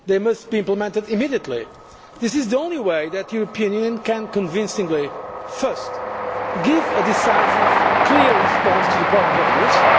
They must be implemented immediately. This is the only way that the European Union can, convincingly first, give a decisive clear response to the problems of Greece